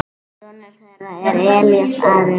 Sonur þeirra er Elías Ari.